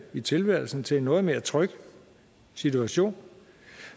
i tilværelsen til en noget mere tryg situation